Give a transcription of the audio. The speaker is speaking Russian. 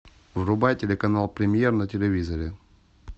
врубай телеканал премьер на телевизоре